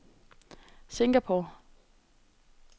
Singapore